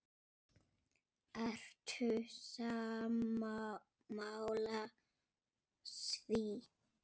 Ertu sammála því?